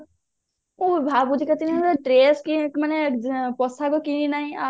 ଭାବୁଛି କେତେଦିନ ହେଲା dress ମାନେ ପୋଷାକ କିଣି ନାହିଁ